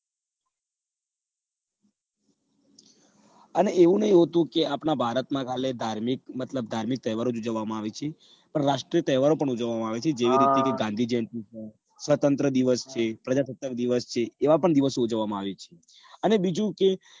અને એવુ નથી હોતું કે આપણા બાળકમાં ખાલી ધાર્મિક તહેવાર જ ઉજવવામાં આવે છે પણ રાષ્ટ્રીય તહેવારો પણ ઉજવવામાં આવે છે જેવી રીતે જેવા કે ગાંધી જયંતી સ્વતંત્ર દિવસ છે પ્રજાસત્તાક દિવસ છે એવા પણ દિવસો ઉજવવામાં આવે છે અને બીજું કે